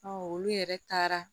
olu yɛrɛ taara